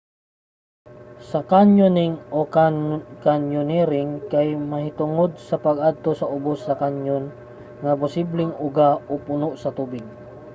ang kanyoning o: kanyonering kay mahitungod sa pag-adto sa ubos sa canyon nga posibleng uga o puno sa tubig